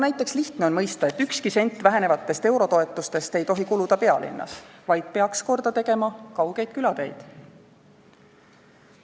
Näiteks on lihtne mõista, et ükski sent vähenevatest eurotoetustest ei tohi kuluda pealinnas, vaid see raha peaks korda tegema kaugeid külateid.